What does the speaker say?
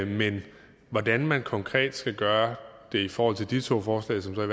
men hvordan man konkret skal gøre det i forhold til de to forslag som der